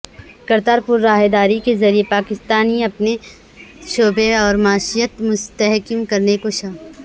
کرتارپور راہداری کے ذریعہ پاکستان اپنی شبیہہ اور معیشت مستحکم کرنے کوشاں